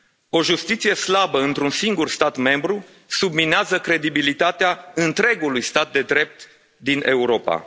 O justiție slabă într un singur stat membru subminează credibilitatea întregului stat de drept din Europa.